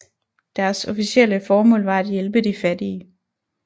Deres officielle formål var at hjælpe de fattige